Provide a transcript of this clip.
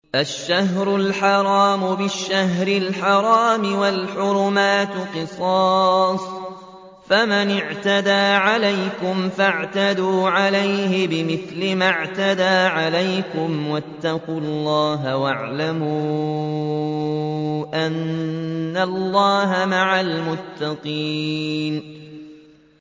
الشَّهْرُ الْحَرَامُ بِالشَّهْرِ الْحَرَامِ وَالْحُرُمَاتُ قِصَاصٌ ۚ فَمَنِ اعْتَدَىٰ عَلَيْكُمْ فَاعْتَدُوا عَلَيْهِ بِمِثْلِ مَا اعْتَدَىٰ عَلَيْكُمْ ۚ وَاتَّقُوا اللَّهَ وَاعْلَمُوا أَنَّ اللَّهَ مَعَ الْمُتَّقِينَ